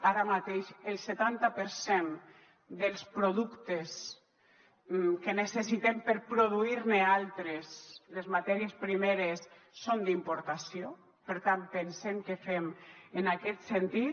ara mateix el setanta per cent dels productes que necessitem per produir ne altres les matèries primeres són d’importació per tant pensem què fem en aquest sentit